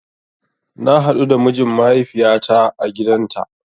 Na haɗu da mijin mahaifiyata a gidanta